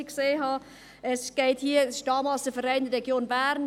Die Studie wurde vom einstigen Verein Region Bern (VRB) in Auftrag gegeben.